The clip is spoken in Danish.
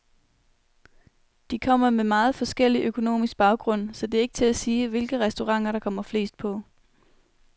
De kommer med meget forskellig økonomisk baggrund, så det er ikke til at sige, hvilke restauranter der kommer flest på.